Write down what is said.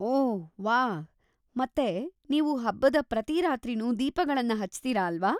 ಓಹ್ ವಾಹ್! ಮತ್ತೆ ನೀವು ಹಬ್ಬದ ಪ್ರತಿ ರಾತ್ರಿನೂ ದೀಪಗಳನ್ನ ಹಚ್ತೀರಾ ಅಲ್ವಾ?